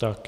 Tak.